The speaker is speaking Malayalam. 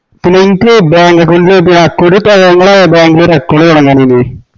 പിന്ന എൻക്ക് bank account ഇങ്ങള bank ഇൽ ഒര് account തൊടങ്ങാനെനി